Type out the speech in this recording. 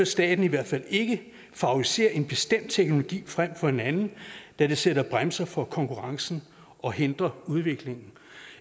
staten i hvert fald ikke favorisere en bestemt teknologi frem for en anden da det sætter en bremse for konkurrencen og hindrer udviklingen